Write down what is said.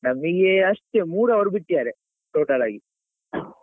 ನಮಿಗೇ ಅಷ್ಟೆ ಮೂರು hour ಬಿಟ್ಟಿದ್ದಾರೆ total ಆಗಿ